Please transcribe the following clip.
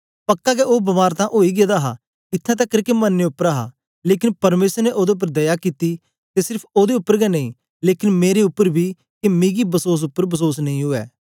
पक्का गै ओ बमार तां ओई गेदा हा इत्थैं तकर के मरने उपर हा लेकन परमेसर ने ओदे उपर दया कित्ती ते सेर्फ ओदे उपर गै नेई लेकन मेरे उपर बी के मिकी बसोस उपर बसोस नेई उवै